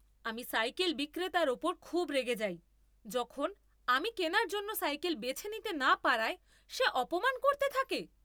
আমি সাইকেল বিক্রেতার ওপর খুব রেগে যাই যখন আমি কেনার জন্য সাইকেল বেছে নিতে না পারায় সে অপমান করতে থাকে।